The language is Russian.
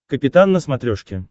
капитан на смотрешке